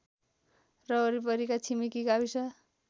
र वरिपरिका छिमेकी गाविस